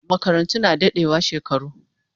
Makarantu na dadewa shekaru